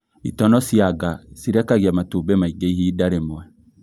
Itono cia nga cirekagia matumbĩ maingĩ ihinda rīmwe